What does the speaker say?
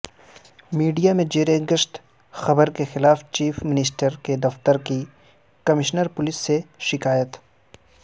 media میں زیرگشت خبر کے خلاف چیف منسٹر کے دفتر کی کمشنر پولیس سے شکایت